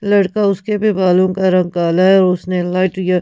लड़का उसके भी बालों का रंग काला है और उसने लाइट या--